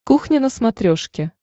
кухня на смотрешке